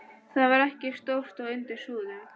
Það var ekki stórt og undir súðum.